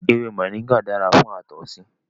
Ewé moringa dára fún àtọ̀sí